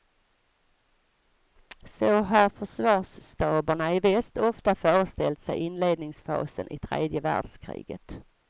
Så har försvarsstaberna i väst ofta föreställt sig inledningsfasen i tredje världskriget.